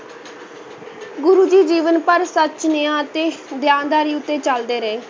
ਗੁਰੂ ਜੀ ਜੀਵਨ ਭਰ ਸੱਚ, ਨਿਆਂ ਅਤੇ ਦਿਆਨਦਾਰੀ ਉੱਤੇ ਚਲਦੇ ਰਹੇ।